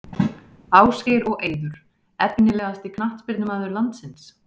Ásgeir og Eiður Efnilegasti knattspyrnumaður landsins?